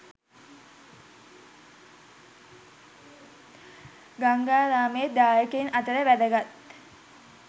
ගංගාරාමේ දායකයින් අතර වැදගත්